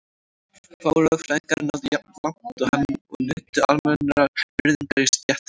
Fáir lögfræðingar náðu jafn langt og hann og nutu jafn almennrar virðingar í stéttinni.